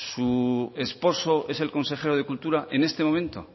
su esposo es el consejero de cultura en este momento